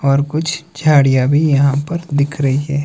और कुछ झाड़ियां भी यहां पर दिख रही है।